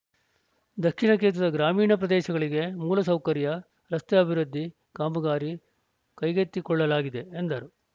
ದಕ್ಷಿಣ ಕ್ಷೇತ್ರದ ಗ್ರಾಮೀಣ ಪ್ರದೇಶಗಳಿಗೆ ಮೂಲ ಸೌಕರ್ಯ ರಸ್ತೆ ಅಭಿವೃದ್ಧಿ ಕಾಮಗಾರಿ ಕೈಗೆತ್ತಿಕೊಳ್ಳಲಾಗಿದೆ ಎಂದರು